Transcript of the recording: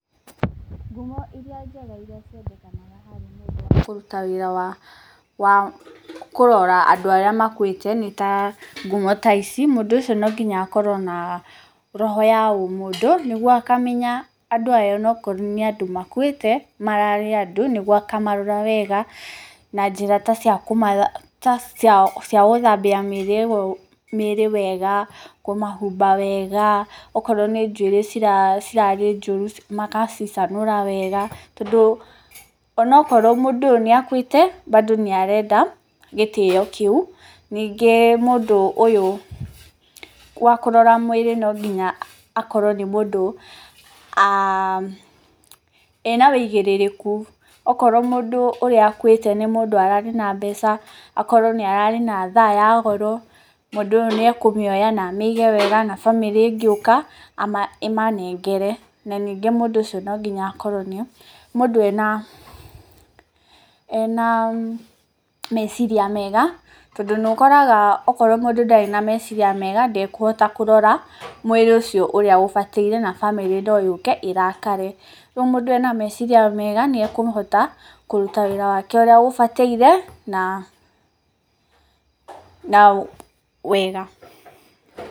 Ngumo irĩa njega irĩa ciendekanaga harĩ mũndũ wa kũruta wĩra wa kũrora andũ arĩa makuĩte nĩ ta ngumo ta ici: Mũndũ ũcio no nginya akorwo na roho ya ũmũndũ nĩguo akamenya andũ aya ona okorwo nĩ andũ makuĩte mararĩ andũ nĩguo akamarora wega, na njĩra ta cia kũmathambia gũthambia mĩĩrĩ wega, kũmahumba wega, okorwo nĩ njuĩrĩ cirarĩ njũru magacicanũra wega. Tondũ ona okorwo mũndũ ũyũ nĩ akuĩte bado nĩ arenda gĩtĩo kĩu. Ningĩ mũndũ ũyũ wa kũrora mwĩrĩ no nginya akorwo nĩ mũndũ ena ũigĩrĩrĩku. Okorwo mũndũ ũrĩa ũkuĩte nĩ mũndũ ararĩ na mbeca, akorwo nĩ ararĩ na thaa ya goro, mũndũ ũyũ nĩ ekũmĩoya na amĩige wega na famĩlĩ ĩngĩũka ĩmanengere. Na ningĩ mũndũ ũcio no nginya akorwo nĩ mũndũ ena meciria mega tondũ nĩ ũkoraga okorwo mũndũ ndarĩ na meciria mega ndekũhota kũrora mwĩrĩ ũcio ũrĩa ũbataire na famĩlĩ no yũke ĩrakare. Ũguo mũndũ ena meciria mega nĩ ekũhota kũruta wĩra wake ũrĩa ũbataire na wega.